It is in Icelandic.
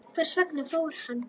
Hvers vegna fór hann?